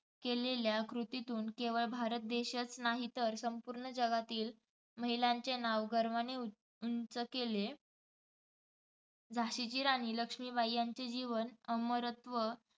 केलेल्या कृतीतून केवळ भारत देशच नाही तर संपूर्ण जगातील महिलांचे नाव गर्वाने उउंच केले. झाशीची राणी लक्ष्मीबाई यांचे जीवन अमरत्व